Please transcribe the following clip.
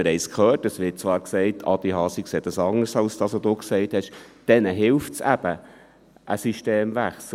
Wir haben es gehört, es wird gesagt – und ich sehe das anders, als Sie es gesagt haben, Adrian Haas –, denen helfe eben ein Systemwechsel.